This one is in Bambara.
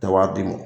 Tɛ wari di ma